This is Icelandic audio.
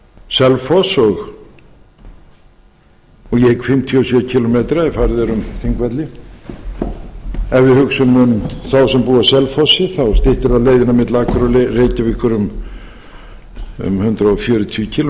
selfoss og ég hygg fimmtíu og sjö kílómetra ef farið er um þingvelli ef við hugsum um þá sem búa á selfossi þá styttir það leiðina milli akureyrar og reykjavíkur um hundrað fjörutíu kílómetra